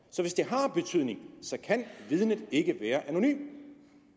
så hvis det har betydning kan vidnet ikke være anonymt